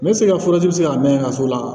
N bɛ se ka furaji sigi ka mɛn ka so la